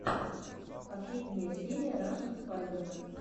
последняя серия рашн спайдермен